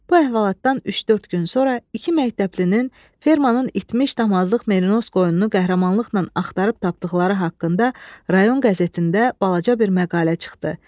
Bu əhvalatdan üç-dörd gün sonra iki məktəblinin fermeranın itmiş damazlıq merinos qoyununu qəhrəmanlıqla axtarıb tapdıqları haqqında rayon qəzetində balaca bir məqalə çıxdı.